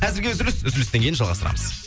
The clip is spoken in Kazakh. әзірге үзіліс үзілістен кейін жалғастырамыз